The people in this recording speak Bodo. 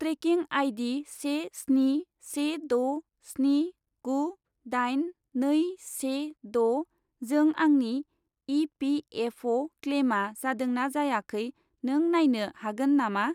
Trekking ID. से स्नि से द' स्नि गु दाइन नै से द' जों आंनि इ.पि.एफ.अ'. क्लेइमा जादोंना जायाखै नों नायनो हागोन नामा?